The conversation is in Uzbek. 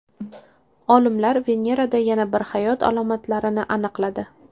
Olimlar Venerada yana bir hayot alomatlarini aniqladi.